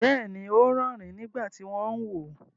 Bẹ́ẹ̀ni, ó ń rẹ́ẹ̀rín nígbà tí ó ń wò ó.